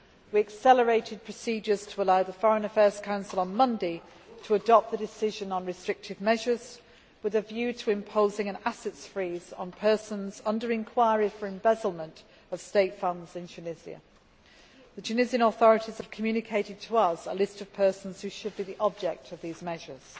We accelerated procedures to allow the Foreign Affairs Council on Monday to adopt a decision on restrictive measures, with a view to imposing an assets freeze on persons under inquiry for embezzlement of state funds in Tunisia. The Tunisian authorities have communicated to us a list of persons who should be the object of these measures.